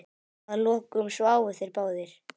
Að lokum sváfu þeir báðir.